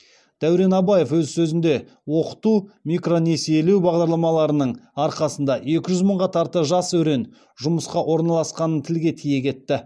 дәурен абаев өз сөзінде оқыту микронесиелеу бағдарламаларының арқасында екі жүз мыңға тарта жас өрен жұмысқа орналасқанын тілге тиек етті